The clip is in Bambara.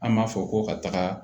An b'a fɔ ko ka taga